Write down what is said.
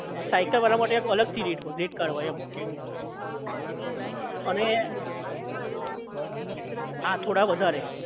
cycle વાળા માટે આખું અલગ થી rate હોય rate card હોય એમ અને આ થોડા વધારે